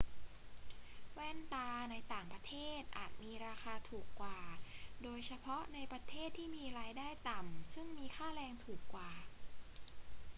แว่นตาในต่างประเทศอาจมีราคาถูกกว่า โดยเฉพาะในประเทศที่มีรายได้ต่ำซึ่งมีค่าแรงถูกกว่า